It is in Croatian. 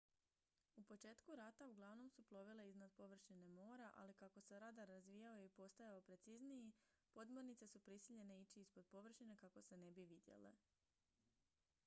u početku rata uglavnom su plovile iznad površine mora ali kako se radar razvijao i postajao precizniji podmornice su prisiljene ići ispod površine kako se ne bi vidjele